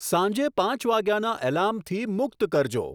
સાંજે પાંચ વાગ્યાના એલાર્મથી મુક્ત કરજો